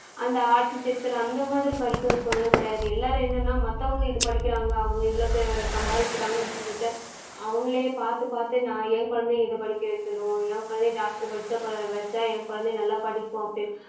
அந்த architecture அந்த மாதிரி படிக்க வைப்போம்னு எல்லாம் கிடையாது. எல்லாரும் என்னென்னா மத்தவங்க இது படிக்கிறாங்க அவங்க இவ்ளோ பா~ சம்பாதிக்குறாங்கனு சொல்லிட்டு அவங்களே பாத்து பாத்து நான் ஏன் குழந்தையையும் இத படிக்க வைக்கணும், ஏன் குழந்தையும் doctor படிச்சா கு~ வச்சா என் குழந்தையும் நல்லா படிக்கும் அப்படின்னு